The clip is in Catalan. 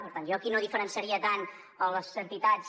per tant jo aquí no diferenciaria tant les entitats